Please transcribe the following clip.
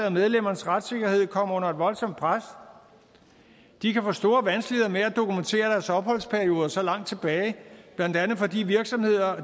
at medlemmernes retssikkerhed kommer under et voldsomt pres de kan få store vanskeligheder med at dokumentere deres opholdsperioder så langt tilbage blandt andet fordi virksomheder